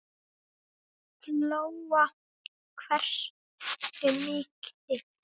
Lóa: Hversu mikil?